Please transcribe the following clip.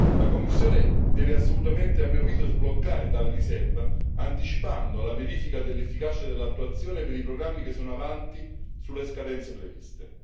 La Commissione deve assolutamente, a mio avviso, sbloccare tale riserva, anticipando la verifica dell'efficacia dell'attuazione per i programmi che sono avanti sulle scadenze previste.